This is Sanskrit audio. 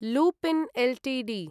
Lupin Ltd